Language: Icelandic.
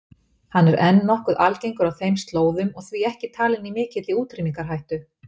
Hann er enn nokkuð algengur á þeim slóðum og því ekki talinn í mikilli útrýmingarhættu.